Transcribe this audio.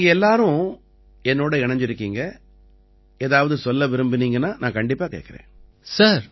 நீங்க எல்லாரும் என்னோட இணைஞ்சிருக்கீங்க ஏதாவது சொல்ல விரும்பறீங்கன்னா நான் கண்டிப்பா கேட்கறேன்